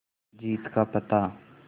जीत का पता